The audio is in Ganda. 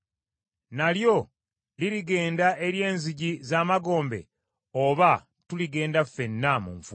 Nalyo lirigenda eri enzigi z’emagombe Oba tuligenda ffenna mu nfuufu?”